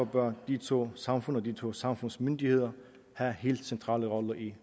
bør de to samfund og de to samfunds myndigheder have helt centrale roller i